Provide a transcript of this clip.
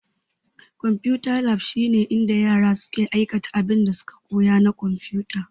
Konfuta lab shine inda yara suke aikata abinda suka koya na konfuta.